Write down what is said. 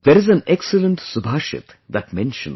There is an excellent Subhashit that mentions